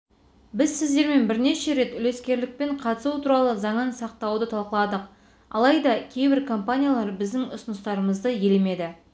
біз сіздермен бірнеше рет үлескерлікпен қатысу туралы заңын сақтауды талқыладық алайда кейбір компаниялар біздің ұсыныстарымызды елемеді